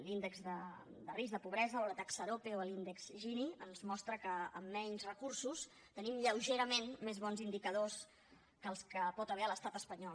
l’índex de risc de pobresa o la taxa arope o l’índex gini ens mostren que amb menys recursos tenim lleugerament més bons indicadors que els que hi pot haver a l’estat espanyol